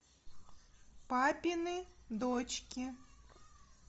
папины дочки